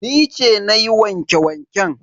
Ni ce na yi wanke-wanken.